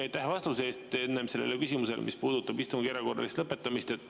Aitäh vastuse eest sellele küsimusele, mis puudutab istungi erakorralist lõpetamist!